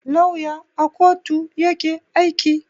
Lauya à kotu yake aiki.